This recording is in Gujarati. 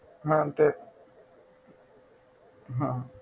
હા તે હા